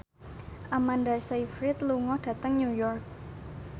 Amanda Sayfried lunga dhateng New York